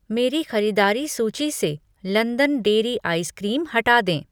मेरी खरीदारी सूची से लंदन डेरी आइस क्रीम हटा दें।